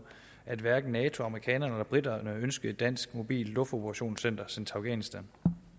at hverken nato amerikanerne eller briterne ønskede et dansk mobilt luftoperationscenter sendt til afghanistan